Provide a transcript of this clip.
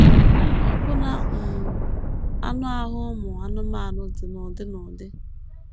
Ọbụna um anụ ahụ ụmụ anụmanụ dị n’ụdị n’ụdị.